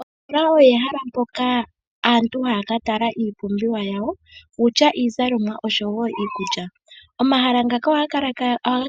Ositoola olyo ehala mpoka aantu haya ka tala iipumbiwa yawo, kutya iizalomwa oshowo iikulya. Omahala ngaka ohaga